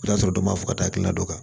I b'a sɔrɔ dɔ ma fɔ ka taa hakilina dɔ kan